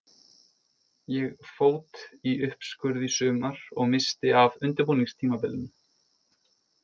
Ég fót í uppskurð í sumar og missti af undirbúningstímabilinu.